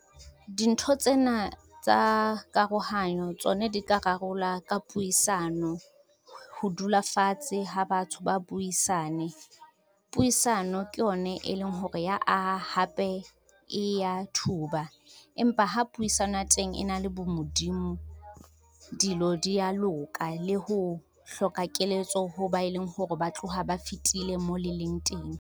Dintho tsena tsa karohanyo tsone di ka rarola ka puisano, ho dula fatshe ha batho ba buisane. Puisano ke yone e leng hore ya aha hape e ya thuba, empa ha puisano ya teng e na le bo Modimo, dilo di ya loka le ho hloka keletso ho ba e leng hore ba tloha ba fetile mo le leng teng.